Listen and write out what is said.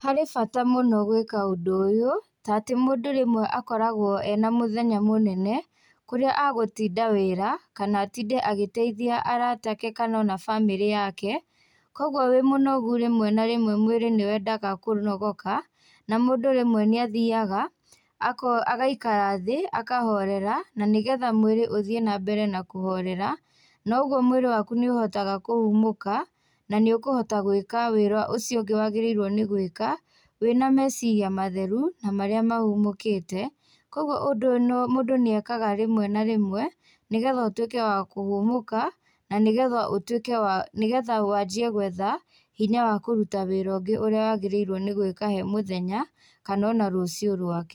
Harĩ bata mũno gwĩka ũndũ ũyũ tatĩ mũndũ rĩmwe akoragwo ena mũthenya mũnene, kũrĩa agũtinda wĩra kana atinde agĩteithia arata ake kana ona bamĩrĩ yake, koguo wĩ mũnogu rĩmwe na rĩmwe mwĩrĩ nĩ wendaga kũnogoka, na mũndũ rĩmwe nĩ athiaga agaikara thĩ, akahorera, na nĩgetha mwĩrĩ ũthiĩ na mbere na kũhorera, noguo mwĩrĩ waku nĩ ũhotaga kũhũmũka na nĩ ũkũhota gwĩka wĩra ũcio ũngĩ wagĩrĩurwo nĩ gũĩka, wĩna meciria matheru na marĩa mahũmũkĩte. Koguo ũndũ ũyũ mũndũ nĩ ekaga rĩmwe na rĩmwe, nĩgetha ũtuĩke wa kũhũmũka, na nĩgetha ũtuĩke wa, nĩgetha wanjie gwetha hinya wa kũruta wĩra ũngĩ ũrĩa wagĩrĩirwo nĩ gũĩka he mũthenya kana ona rũcio rwake.